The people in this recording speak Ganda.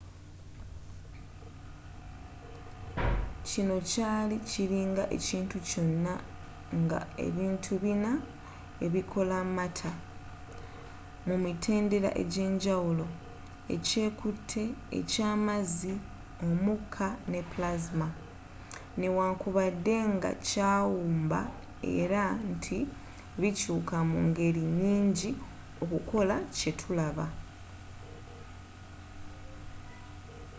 kino kyali kiringa ekintu kyonna nga ebintu bina ebikola matter mu mitendera egyenjawulo: ekyekute e’kyamazzi omuka ne plasma ne wankubadde nga yakiwumba era nti bikyuka mu ngeri nyingi okukola kye tulaba